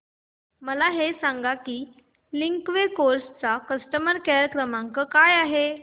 मला हे सांग की लिंकवे कार्स चा कस्टमर केअर क्रमांक काय आहे